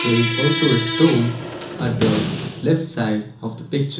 there is also a stone at the left side of the picture.